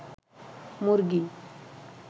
মুরগী